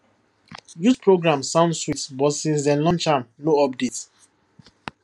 youth program sound sweet but since dem launch am no update